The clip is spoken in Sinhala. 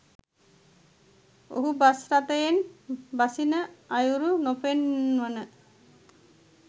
ඔහු බස් රථයෙන් බසින අයුරු නොපෙන්වන